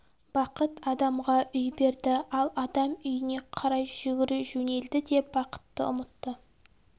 бақыт адамға үй берді ал адам үйіне қарай жүгіре жөнелді де бақытты ұмытты